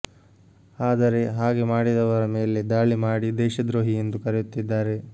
ಆದರೆ ಹಾಗೆ ಮಾಡಿದವರ ಮೇಲೆ ದಾಳಿ ಮಾಡಿ ದೇಶದ್ರೋಹಿ ಎಂದು ಕರೆಯುತ್ತಿದ್ದಾರೆ